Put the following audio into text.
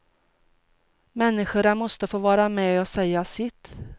Människorna måste få vara med och säga sitt.